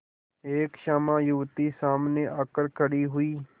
एक श्यामा युवती सामने आकर खड़ी हुई